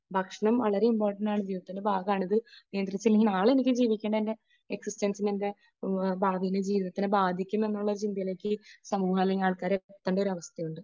ഭക്ഷണം വളരെ ഇംപോർട്ടന്റ് ആണ്. ജീവിതത്തിന്റെ ഭാഗമാണ്, ഇത് നിയന്ത്രിച്ചില്ലെങ്കിൽ നാളെ എനിക്ക് ജീവിക്കേണ്ട എക്സിസ്റ്റൻസ് എന്റെ ഭാവി ജീവിതത്തെ ബാധിക്കും എന്നുള്ള ഒരു ചിന്തയിലേയ്ക്ക് ഈ സമൂഹം ഇല്ലെങ്കിൽ ആൾക്കാര് എത്തേണ്ട ഒരു അവസ്ഥയുണ്ട്.